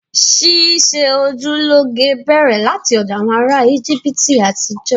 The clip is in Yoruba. Ṣíṣe ojú lọ́ge bẹ̀rẹ̀ láti ọ̀dọ̀ àwọn ará Íjíbítì àtijọ́